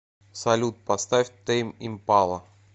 салют поставь тэйм импала